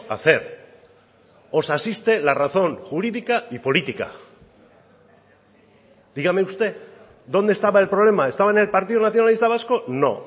hacer os asiste la razón jurídica y política dígame usted dónde estaba el problema estaba en el partido nacionalista vasco no